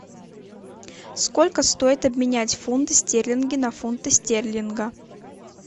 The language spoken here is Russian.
сколько стоит обменять фунты стерлинги на фунты стерлинга